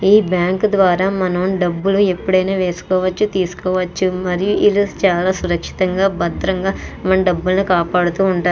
ఈ బ్యాంక్ ద్వారా మనం డబ్బులు ఎప్పుడైనా వేసుకోవచ్చు తీసుకోవచ్చు. మరియు ఇలా చాలా సురక్షితంగా భద్రంగా మనం డబ్బులునీ కాపాడుతూ ఉంటారు.